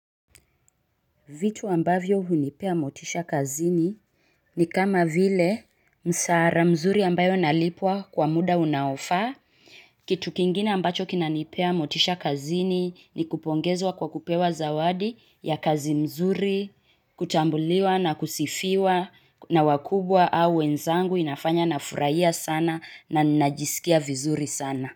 Vitu ambavyo hunipea motisha kazini ni kama vile mshahara mzuri ambayo nalipwa kwa muda unaofa. Kitu kingine ambacho kinanipa motisha kazini ni kupongezwa kwa kupewa zawadi ya kazi nzuri. Kutambuliwa na kusifiwa na wakubwa au wenzangu hunifurahisha sana na kunifanya nijisikia vizuri sana.